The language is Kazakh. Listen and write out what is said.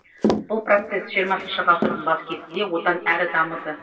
бұл процесс жиырмасыншы ғасырдың бас кезінде одан әрі дамыды